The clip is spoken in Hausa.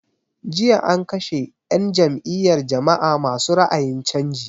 Jiya an kashe 'yan n jam'iyar jama'a ma su ra'ayin canji.